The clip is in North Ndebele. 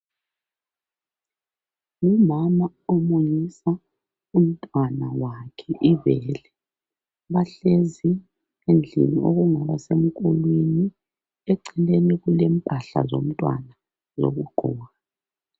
Ngumama omunyisa umntwana wakhe ibele. Bahlezi endlini okungaba semkulwini. Eceleni kulempahla zomntwana zokugqoka.